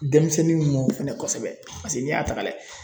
Denmisɛnninw mɔ fɛnɛ kosɛbɛ paseke n'i y'a ta ka lajɛ